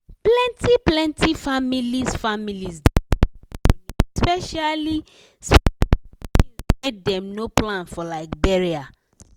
plenty-plenty families families dey save money specially-specially for tins wey dem no plan for like burial.